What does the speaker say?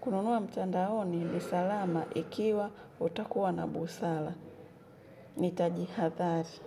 Kununua mtandaoni ni salama ikiwa utakuwa na busala. Nitajihadhari.